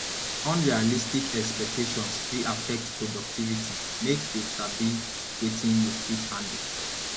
unrealistic expectations fit affect productivity make you sabi wetin you fit handle